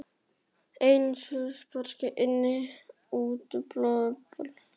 Eins og sparigrís innan í útblásinni blöðru.